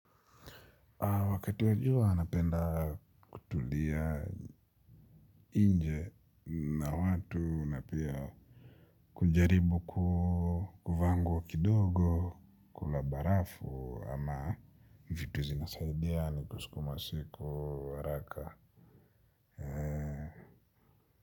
Wakati wa jua napenda kutulia nje na watu na pia kujaribu ku kuvaa nguo kidogo, kula barafu ama vitu zinasaidia ni kusukuma siku haraka.